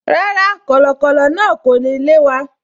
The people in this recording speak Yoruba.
Rárá, kọ̀lọ̀kọ̀lọ̀ náà kò ní lé wa